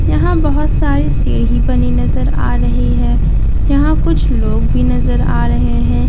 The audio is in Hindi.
यहां बहुत साड़ी सीढ़ी बनी नजर आ रही हैं यहां कुछ लोग भी नजर आ रहे हैं यहां कुछ --